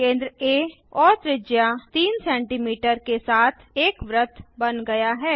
केंद्र आ और त्रिज्या 3 सेमी के साथ एक वृत्त बन गया है